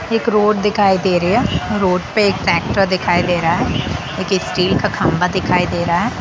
एक रोड दिखाई दे रही है रोड पे एक ट्रैक्टर दिखाई दे रहा है स्टील का खंबा दिखाई दे रहा है।